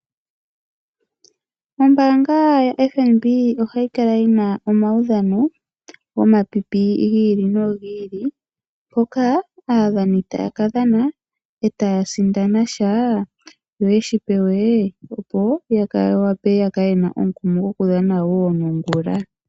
Ombanga yaFNB ohayi kala yina omaudhano gomapipi gi ili nogi ili mpoka aadhani taya ka dhana etaya sindana sha yo yeshi pewe ya yakale yena omukumo goku dhana nongula.